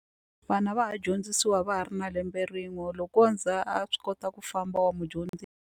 Vana va ha dyondzisiwa va ha ri na lembe rin'we loko wo za a swi kota ku famba wa mudyondzi.